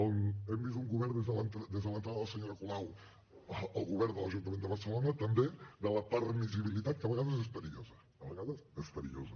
a on hem vist un govern des de l’entrada de la senyora colau al govern de l’ajuntament de barcelona també de la permissivitat que a vegades és perillosa a vegades és perillosa